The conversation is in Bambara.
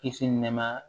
Kisi nɛɛma